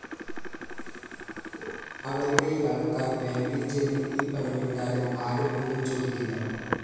അവരുടെയാള്‍ക്കാര്‍ ബാങ്കില്‍ ചെന്ന് ഈ പണമിട്ടാലും ആരും ഒന്നും ചോദിക്കില്ല